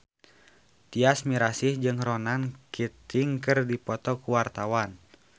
Tyas Mirasih jeung Ronan Keating keur dipoto ku wartawan